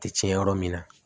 Tɛ tiɲɛ yɔrɔ min na